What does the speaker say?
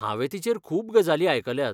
हांवें तिचेर खूब गजाली आयकल्यात.